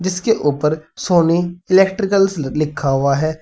इसके ऊपर Sony electricals लिखा हुआ है।